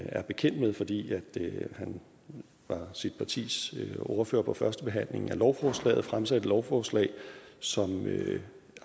er bekendt med fordi han var sit partis ordfører på førstebehandlingen af lovforslaget fremsat et lovforslag som